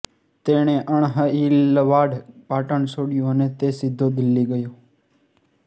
તેણે અણહિલવાડ પાટણ છોડ્યું અને તે સીધો દિલ્હી ગયો